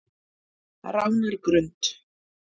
Ránargrund